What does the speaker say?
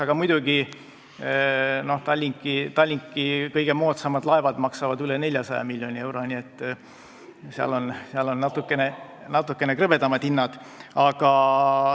Aga muidugi, Tallinki kõige moodsamad laevad maksavad üle 400 miljoni euro, nii et seal on natukene krõbedamad hinnad.